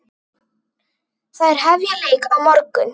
Þær hefja leik á morgun.